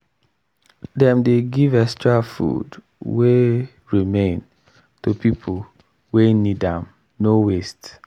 dem dey give extra food wey remain to people wey need am no waste.